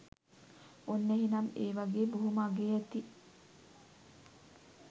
ඔන්න එහෙනම් ඒ වගේ බොහෝම අගේ ඇති